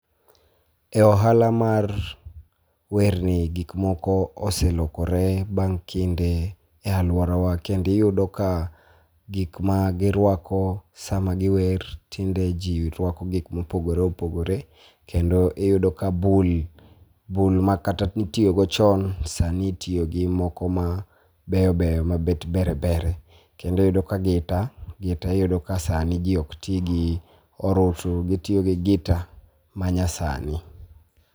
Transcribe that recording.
E ohala mar werni gik moko oselokore bang' kinde e aluorawa kendo iyudo ka gik ma girwako sama giwer tinde ji rwako gik ma opogore opogore kendo iyudo ka bul, bul makata ne itiyo go chon sani itiyo gi moko ma beyo beyo ma bet ber berie kendo iyudo ka gita gita iyudo ka sani ji ok ti gi orutu gitiyo gi gita manyasani.